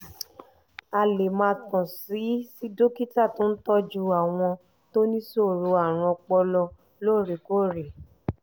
a lè máa kàn sí sí dókítà tó ń tọ́jú àwọn tó níṣòro àrùn ọpọlọ lóòrèkóòrè